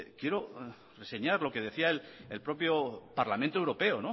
quiero reseñar lo que decía el propio parlamento europeo